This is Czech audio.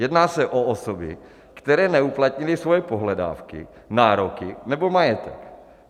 Jedná se o osoby, které neuplatnily svoje pohledávky, nároky nebo majetek.